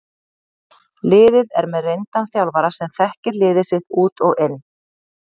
Liðið er með reyndan þjálfara sem þekkir liðið sitt út og inn.